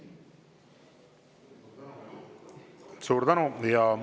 Suur tänu!